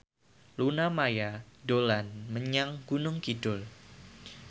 Luna Maya dolan menyang Gunung Kidul